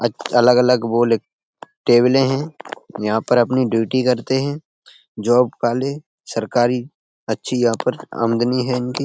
अ अलग-अलग वो लिख टेबले हैं यहाँ पर अपनी ड्यूटी करते हैं जॉब वाले सरकारी अच्छी यहाँ पर आमदनी है इनकी।